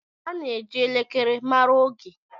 A na-eji elekere mara oge.